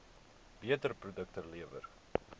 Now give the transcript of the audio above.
beter produkte lewer